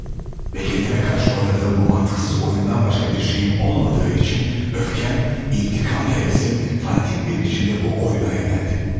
Və kəndimə qarşı oynadığım bu məntiqsiz oyundan başqa bir şeyim olmadığı üçün, öfkəm, intikam həvəsim fanatik bir biçimdə bu oyuna yönəldi.